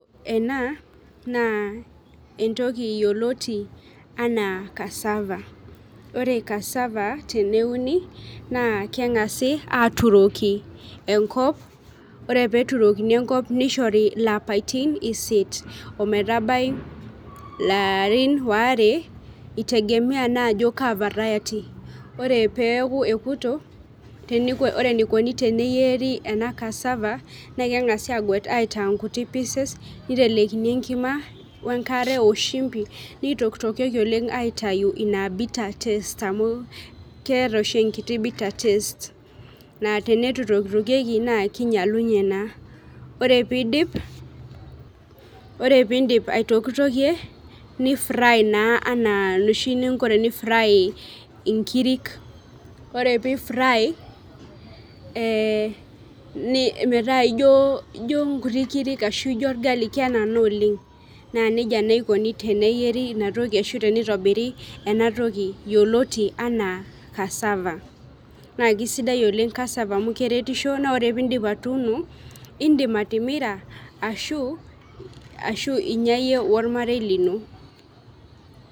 Ena naa entoki yioloti anaa cassava. Ore cassava teneuni, naa keng'asi aturoki enkop, ore peturokini enkop nishori lapaitin isiet ometabai ilarin waare, itegemea naajo kaa variety. Ore peeku ekuto, ore eikoni teneyieri ena cassava, na keng'asi aguet aitaa nkutiti pieces, nitelekini enkima wenkare oshimbi, nitoktokieki oleng aitayu ina bitter test amu keeta oshi enkiti bitter test. Naa tenitu itoktokieki naa kinyalunye naa. Ore pidip aitokitokie ni fry naa enaa enoshi ninko teni fry inkirik. Ore pi fry, metaa ijo nkuti kirik ashu ijo orgali kenana oleng, na nejia naa ikoni teneyieri inatoki ashu tenitobiri enatoki yioloti anaa cassava. Naa kisidai oleng cassava amu keretisho na ore pidip atuuno, idim atimira ashu inya yie ormarei lino.